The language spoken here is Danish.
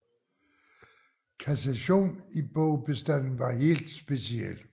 Kassation i bogbestanden var helt speciel